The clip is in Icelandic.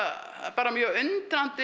bara mjög undrandi